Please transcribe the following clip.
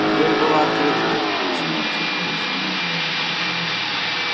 дверь была открыта объяснил незнакомец